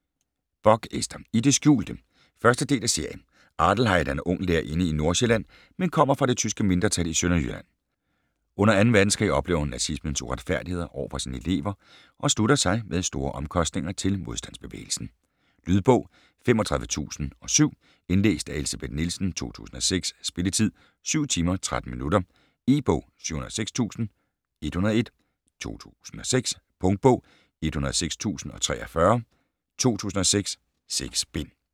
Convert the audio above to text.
Bock, Ester: I det skjulte 1. del af serie. Adelheid er ung lærerinde i Nordsjælland, men kommer fra det tyske mindretal i Sønderjylland. Under 2. verdenskrig oplever hun nazismens uretfærdigheder over for sine elever og slutter sig - med store omkostninger - til modstandsbevægelsen. Lydbog 35007 Indlæst af Elsebeth Nielsen, 2006. Spilletid: 7 timer, 13 minutter. E-bog 706101 2006. Punktbog 106043 2006. 6 bind.